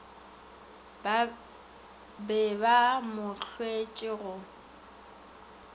be ba mo hloetše go